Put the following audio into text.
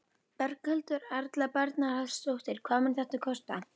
Berghildur Erla Bernharðsdóttir: Hvað mun þetta kosta?